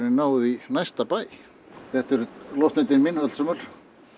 náð í næsta bæ þetta eru loftnetin mín öllsömul